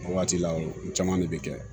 O waati la o caman de bɛ kɛ